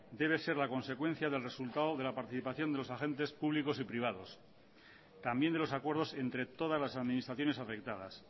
debe ser la consecuencia del resultado de la participación de los agentes públicos y privados también de los acuerdos entre todas las administraciones afectadas